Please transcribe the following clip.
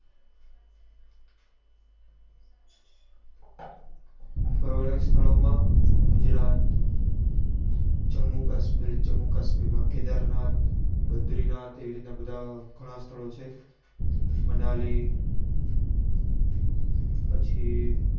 ફરવા લાયક સ્થળો માં ગુજરાત જમ્મુ કાશ્મીર જમ્મુ કાશ્મીર માં કેદારનાથ બદ્રીનાથ એવી રીત ના બધા ગણા સ્થળો છે મનાલી પછી